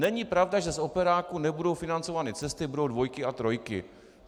Není pravda, že z operáku nebudou financovány cesty, budou dvojky a trojky.